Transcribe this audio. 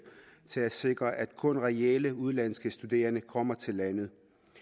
til at sikre at kun reelle udenlandske studerende kommer til landet